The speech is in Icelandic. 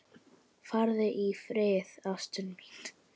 Farðu í friði, ástin mín.